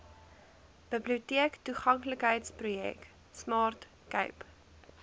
biblioteektoeganklikheidsprojek smart cape